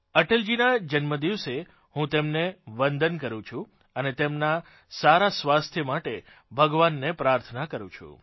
અટલજીનાં જન્મદિવસે હું તેમને વંદન કરું છું અને તેમનાં સારાં સ્વાસ્થ્ય માટે ભગવાનને પ્રાર્થના કરું છું